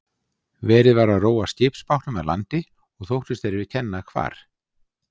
Verið var að róa skipsbátnum að landi og þóttust þeir kenna hvar